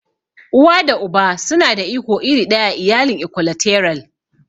Uwa da Uba suna da iko iri ɗaya a iyalin Ikwalateral.